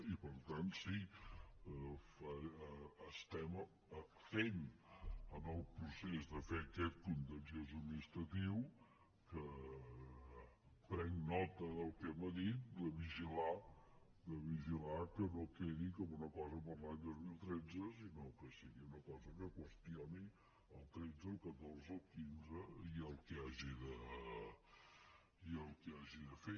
i per tant sí estem en el procés de fer aquest contenciós administratiu que prenc nota del que m’ha dit de vigilar que no quedi com una cosa per a l’any dos mil tretze sinó que sigui una cosa que qüestioni el tretze el catorze el quinze i el que hagi de fer